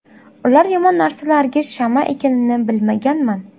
Ular yomon narsalarga shama ekanini bilmaganman”.